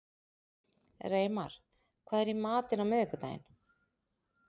Reimar, hvað er í matinn á miðvikudaginn?